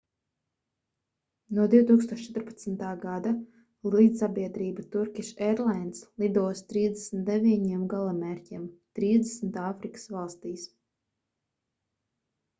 no 2014. gada lidsabiedrība turkish airlines lido uz 39 galamērķiem 30 āfrikas valstīs